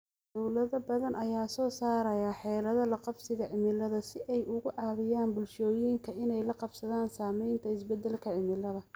Dawlado badan ayaa soo saaraya xeelado la qabsiga cimilada si ay uga caawiyaan bulshooyinka inay la qabsadaan saamaynta isbeddelka cimilada.